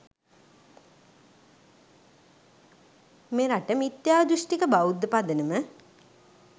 මෙරට මිත්‍යාදෘෂ්ටික බෞද්ධ පදනම